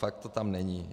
Fakt to tam není.